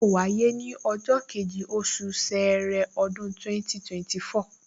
Yóò wáyé ní ọjọ́ kejì, oṣù ṣẹẹrẹ, ọdún 2024